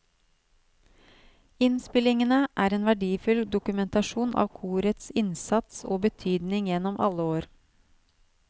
Innspillingene er en verdifull dokumentasjon av korets innsats og betydning gjennom alle år.